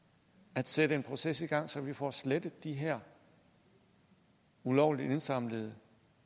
at sætte en proces i gang så vi får slettet de her ulovligt indsamlede